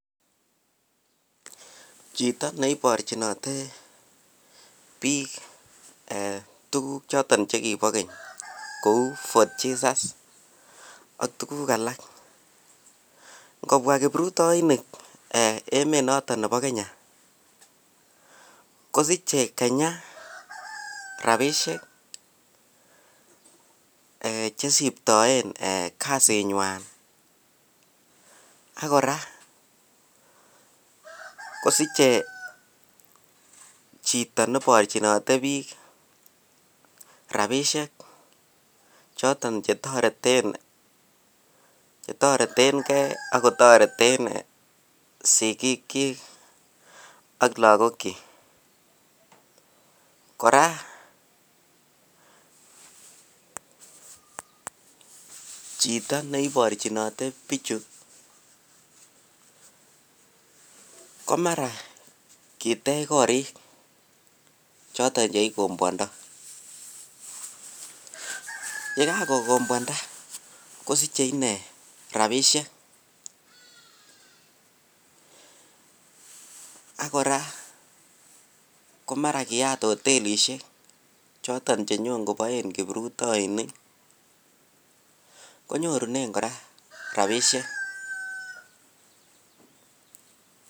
Chito neiborchinote biik tukuk choton chekibo keny kou Forth Jesus ak tukuk alak ngobwa kiprutoinik emet noton nebo Kenya kosiche Kenya rabishek chesiptoen kasinywan ak kora kosiche chito neborchinote biik rabishek choton chetoretenge ak kotoreten sikiikyik ak lokokyik, kora chito neiborchinote bichu komara kitech korik choton cheikombwondo, yekakokombwanda kosiche inee rabishek ak kora komara kiyaat hotelishek choton chenyo kotochen kiprutoinik konyorunen kora rabishek.